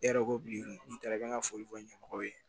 E yɛrɛ ko bi n'i taara n ka foli kɛ ɲɛmɔgɔw ye